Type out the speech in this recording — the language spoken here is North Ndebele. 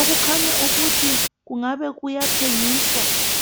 okukhanya ukuthi kungabe kuyathengiswa.